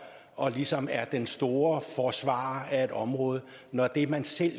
og ligesom er den store forsvarer af et område når det man selv